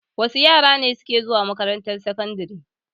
Wa su yara ne suke zuwa makarantar sakandare?